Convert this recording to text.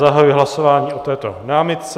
Zahajuji hlasování o této námitce.